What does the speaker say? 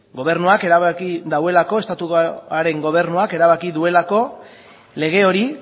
gobernuak erabaki duelako estatuaren gobernuak erabaki duelako lege hori